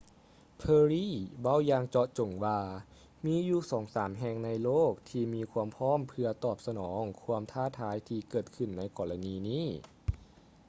perry ເວົ້າຢ່າງເຈາະຈົງວ່າ ມີຢູ່ສອງສາມແຫ່ງໃນໂລກທີ່ມີຄວາມພ້ອມເພື່ອຕອບສະໜອງຄວາມທ້າທາຍທີ່ເກີດຂື້ນໃນກໍລະນີນີ້